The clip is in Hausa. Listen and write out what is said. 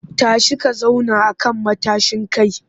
Tashi ka zauna a kan matashin kai!